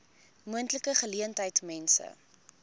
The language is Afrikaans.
moontlike geleentheid mense